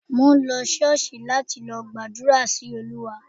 Mò ń lọ Ṣọ́ọ̀ṣì láti lọ gbàdúrà sí Olúwa